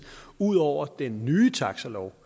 ud over den nye taxalov